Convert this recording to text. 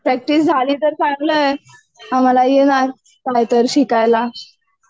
Practice झाली तर चांगलं आहे. आम्हाला ना काहीतरी शिकायला